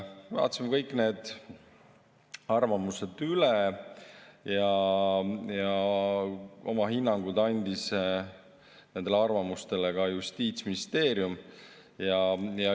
Vaatasime kõik need arvamused üle ja oma hinnangu andis nendele arvamustele ka Justiitsministeerium.